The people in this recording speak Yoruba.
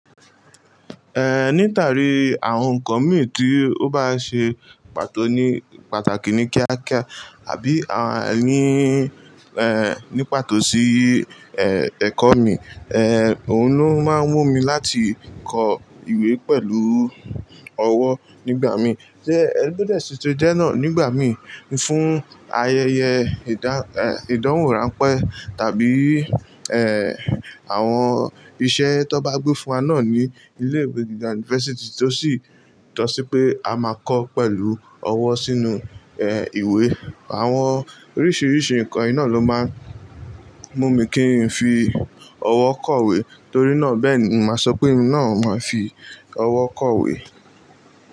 Eh, nítarí àwon nkan mí tí ó bá ṣe pàtó ní pàtàkì ní kíá kíá, àbí àá ni, eh, ní pàtó sí, eh, èkọ́ mi, eh, òun ló máa ń mú mi láti kọ ìwé pẹ̀lú ọwọ́ nígbà mí. Ẹ to de tun ṣe jẹ́ náà nígbà mí fún ayẹyẹ ìdá, eh, ìdánwò ránpẹ́ tàbí, eh, àwọn iṣẹ́ tan bá gbé fún wa náà ní ilé ìwé gíga university tó sì tọ́ sí pé a máa kọ pẹ̀lú ọwọ́ sínú, eh, ìwé. Àwọn oríṣiríṣi nǹkan yìí náà ló máa ń mú mi kí n fi ọwọ́ kọ̀wé torí náà bẹ́ẹ̀ ni màá sọ pé mi náà o máa fi ọwọ́ kọ̀wé.